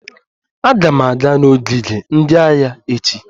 Aga m aga n'ogige ndị agha echi